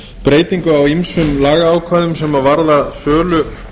breytingu á ýmsum lagaákvæðum sem varða sölu